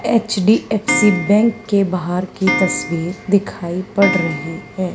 HDFC bank के बाहर की तस्वीर दिखाई पड़ रही है।